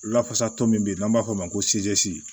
Lafasatɔ min bɛ n'an b'a fɔ o ma ko